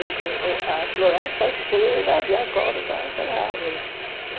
Que que o A floresta cheira de acordo com aquela árvore.